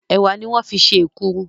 Ẹ̀wà ní wọ́n fi ṣe èkuru